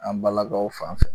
An balakaw fan fɛ